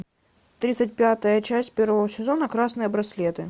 тридцать пятая часть первого сезона красные браслеты